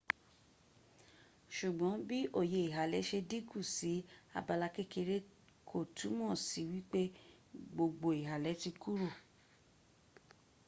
sugbon bi oye ihale se dinku si abala kekere ko tumo si wile gbogbo ihale ti kuro